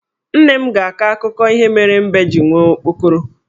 Nne m ga-akọ akụkọ ihe mere mbe ji nwee okpokoro.